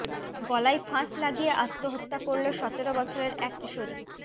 গলায় ফাঁস লাগিয়ে আত্মহত্যা করল সতেরো বছরের এক কিশোরী